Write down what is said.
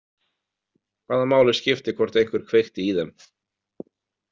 Hvaða máli skiptir hvort einhver kveikti í þeim?